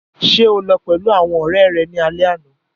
Ṣe o lọ pẹlu awọn ọrẹ rẹ ni alẹ ana?